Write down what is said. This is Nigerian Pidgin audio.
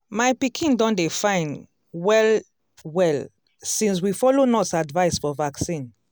my pikin don dey fine well-well since we follow nurse advice for vaccine.